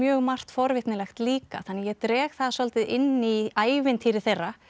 margt forvitnilegt líka þannig að ég dreg það svolítið inn í ævintýri þeirra